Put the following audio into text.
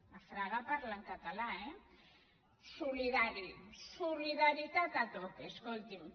a fraga parlen català eh solidari solidaritat a tope escolti’m